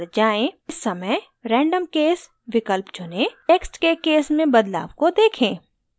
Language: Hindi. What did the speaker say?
इस समय random case विकल्प चुनें text के case में बदलाव को देखें